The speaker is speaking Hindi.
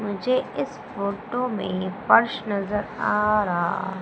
मुझे इस फोटो में पर्स नजर आ रा--